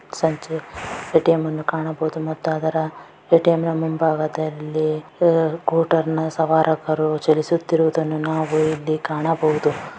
ಸಂಜೆ ಎ_ಟಿ_ಎಮ್ ಅನ್ನು ಕಾಣಬಹುದು ಮತ್ತು ಅದರ ಎ_ಟಿ_ಎಮ್ ನ ಮುಂಬಾಗದಲ್ಲಿ ಕೂಟರನ ಸವಾರಕರು ಚಲಿಸುತ್ತಿರುವದನ್ನು ನಾವು ಇಲ್ಲಿ ಕಾಣಬಹುದು.